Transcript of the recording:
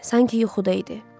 Sanki yuxuda idi.